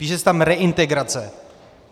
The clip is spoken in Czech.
Píše se tam "reintegrace".